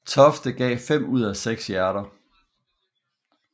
Tofte gav fem ud af seks hjerter